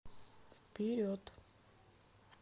вперед